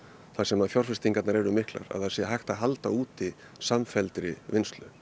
þar sem fjárfestingarnar eru miklar að það sé hægt að halda úti samfelldri vinnslu